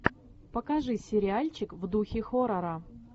покажи сериальчик в духе хоррора